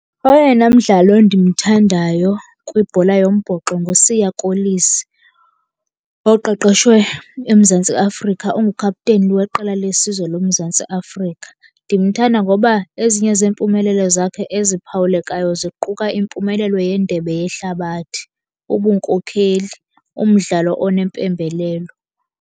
Oyena mdlali ndimthandayo kwibhola yombhoxo nguSiya Kolisi oqeqeshwe eMzantsi Afrika, ongu-captain weqela lesizwe loMzantsi Afrika. Ndimthanda ngoba ezinye zeempumelelo zakhe eziphawulekayo ziquka impumelelo yeNdebe yeHlabathi, ubunkokheli, umdlalo onempembelelo.